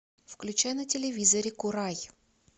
включай на телевизоре курай